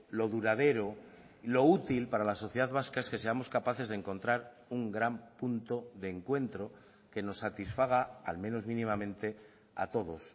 lo duradero lo útil para la sociedad vasca es que seamos capaces de encontrar un gran punto de encuentro que nos satisfaga al menos mínimamente a todos